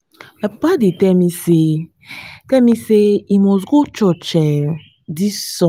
my papa tell me say tell me say he must go church dis um sunday